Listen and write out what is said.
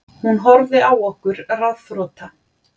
Hún horfði á okkur ráðþrota.